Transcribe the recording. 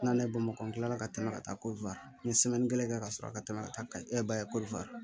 N'ale bamakɔ kila la ka tɛmɛ ka taa n ye kelen kɛ ka sɔrɔ ka tɛmɛ ka taa ka